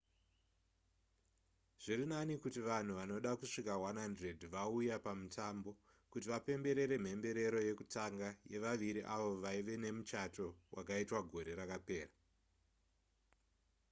zviri nani kuti vanhu vanoda kusvika 100 vauya pamutambo kuti vapemberere mhemberero yekutanga yevaviri avo vaive nemuchato vakaitwa gore rakapera